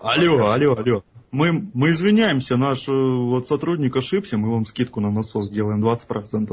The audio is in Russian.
алло алло алло мы мы извиняемся наш вот сотрудник ошибся мы вам скидку на насос делаем двадцать процентов